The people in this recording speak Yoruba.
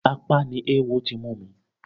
Apá ni ewo ti mú mi.